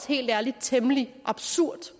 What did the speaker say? helt ærligt temmelig absurd